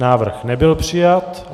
Návrh nebyl přijat.